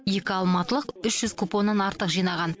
екі алматылық үш жүз купоннан артық жинаған